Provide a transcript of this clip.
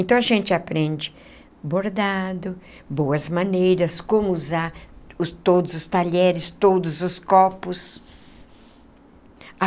Então a gente aprende bordado, boas maneiras, como usar todos os talheres, todos os copos.